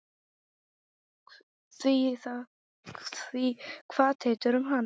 Því kvað Teitur um hana: